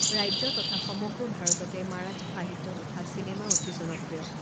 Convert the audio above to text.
ৰাজ্য তথা সমগ্ৰ ভাৰততে মাৰাঠী সাহিত্য তথা চিনেমা অতি জনপ্ৰিয়।